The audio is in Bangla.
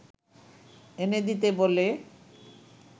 এনে দিতে বলে